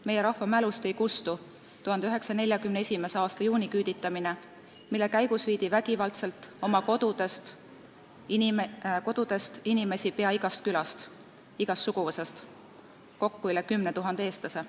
Meie rahva mälust ei kustu 1941. aasta juuniküüditamine, mille käigus viidi vägivaldselt oma kodudest inimesi peaaegu igast külast ja igast suguvõsast – kokku üle 10 000 eestlase.